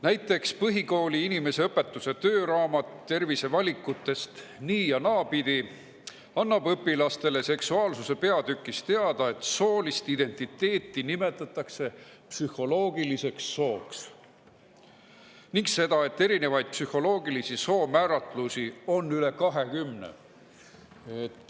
Näiteks põhikooli inimeseõpetuse tööraamat "Tervisevalikutest nii‑ ja naapidi" annab õpilastele seksuaalsuse peatükis teada seda, et soolist identiteeti nimetatakse psühholoogiliseks sooks, ning seda, et erinevaid psühholoogilise soo määratlusi on üle 20.